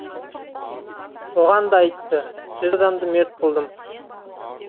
оған да айтты жүз адамды мерт қылдым